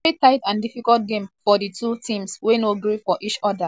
veri tight and difficult game for di two teams wey no gree for each oda despite different shot on target.